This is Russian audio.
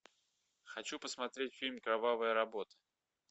хочу посмотреть фильм кровавая работа